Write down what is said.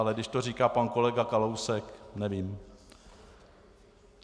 Ale když to říká pan kolega Kalousek, nevím.